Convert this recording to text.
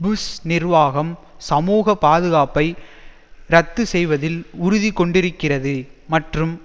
push நிர்வாகம் சமூக பாதுகாப்பை இரத்து செய்வதில் உறுதி கொண்டிருக்கிறது மற்றும்